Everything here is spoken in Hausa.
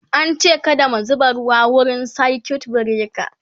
an ce kada mu zuba ruwa wurin circuit breaker